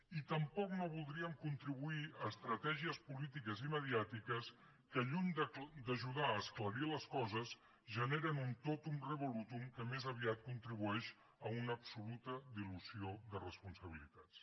i tampoc no voldríem contribuir a estratègies polítiques i mediàtiques que lluny d’ajudar a esclarir les coses generen un totum revolutummés aviat contribueix a una absoluta dilució de responsabilitats